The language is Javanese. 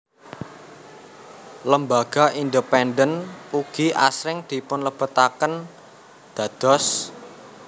Lembaga independen ugi asring dipunlebetaken dados